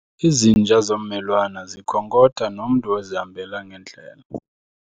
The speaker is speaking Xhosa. Izinja zommelwane zikhonkotha nomntu ozihambela ngendlela.